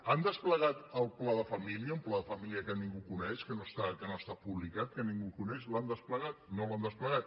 han desplegat el pla de família un pla de família que ningú coneix que no ha estat publicat que ningú coneix l’han desplegat no l’han desplegat